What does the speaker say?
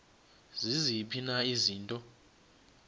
ziziphi na izinto